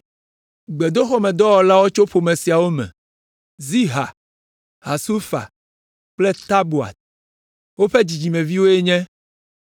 Gbedoxɔmedɔwɔlawo tso ƒome siawo me: Ziha, Hasufa kple Tabaot. Woƒe dzidzimeviwo nye: